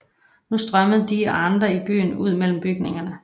Nu strømmede de og andre i byen ud mellem bygningerne